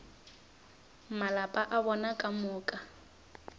malapa a bona ka moka